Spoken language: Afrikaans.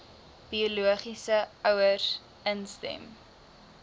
biologiese ouers instem